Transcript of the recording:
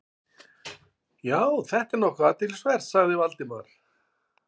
Já, þetta er nokkuð athyglisvert- sagði Valdimar.